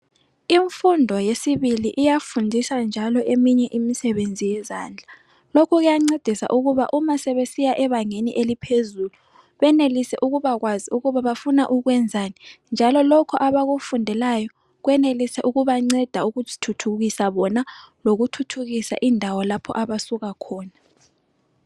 Imfundo yesibili iyafundisa njalo eminye imisebenzi yezandla .Lokho kuyancedisa ukuba uma sebesiya ebangeni eliphezulu benelise ukubakwazi ukuba bafuna ukwenzani. Njalo lokho abakufundelayo kwenelise ukubanceda ukuzithuthukisa bona ,lokuthuthukisa indawo lapho abasuka khona.